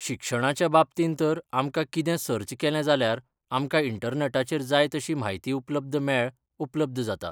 शिक्षणाच्या बाबतीन तर आमकां कितें सर्च केलें जाल्यार आमकां इण्टनॅटाचेर जाय तशी म्हायती उपलब्द मेळ, उपलब्द जाता.